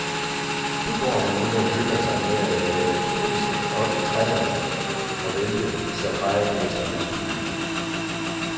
Der går han nu og hygger sig med at jage turister op i træerne og vælte safarigæsternes biler.